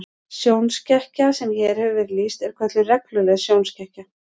Sjónskekkja sem hér hefur verið lýst er kölluð regluleg sjónskekkja.